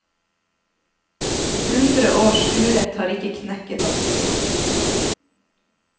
Hundre års urett har ikke knekket oss.